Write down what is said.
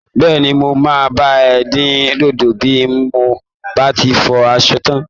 Bẹ́ẹ̀ni. Mo máa bá ẹ dín dòdò bi h mo bá ti fọ aṣọ tán.